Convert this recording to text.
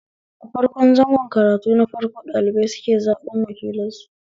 A farko zango karatu na farko ɗalibai suke zaɓen wakilansu